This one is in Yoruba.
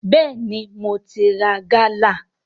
Bẹ́ẹ̀ni, mo ti ra gálà